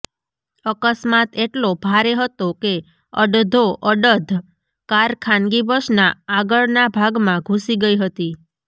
અકસ્માત એટલો ભારે હતો કે અડધોઅડધ કાર ખાનગી બસના આગળના ભાગમા ઘૂસી ગઈ હતી